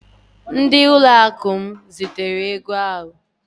Ndị ụlọakụ m zitere ego ahụ